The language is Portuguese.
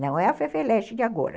Não é a Fefeleche de agora.